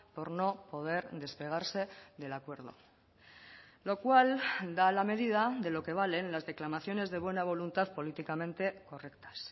por no poder despegarse del acuerdo lo cual da la medida de lo que valen las declamaciones de buena voluntad políticamente correctas